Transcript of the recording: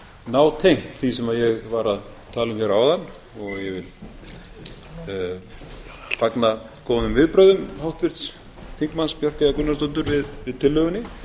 nátengt því sem ég var að tala um hér áðan og ég vil fagna góðum viðbrögðum háttvirts þingmanns bjarkeyjar gunnarsdóttur við tillögunni